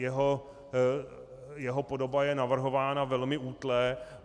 Jeho podoba je navrhována velmi útle.